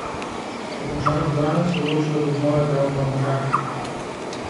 Po končanem zdravljenju se je odločil, da bo znova igral v Podmežakli.